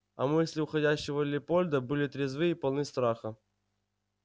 а мысли уходящего лепольда были трезвы и полны страха